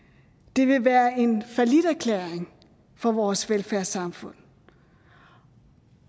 det vil være en falliterklæring for vores velfærdssamfund